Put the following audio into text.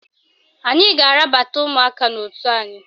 Anyị ga-arabata ụmụaka n'otu anyị